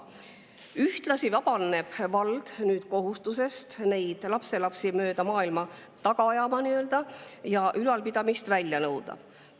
Ühtlasi vabaneb vald kohustusest neid lapselapsi mööda maailma taga ajada ja ülalpidamist välja nõuda.